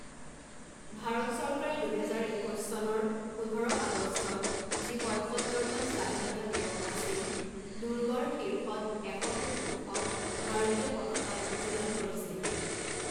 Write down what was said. ভাৰত চৰকাৰে দুহেজাৰ একৈছ চনৰ পোন্ধৰ আগষ্টত, যি পঁইসত্তৰতম স্বাধীনতা দিৱস আছিল, দুৰ্গৰ শীৰ্ষত এশ ফুট ওখ ভাৰতীয় পতকা উত্তোলন কৰিছিল।